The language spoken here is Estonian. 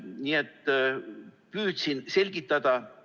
Nii et püüdsin selgitada.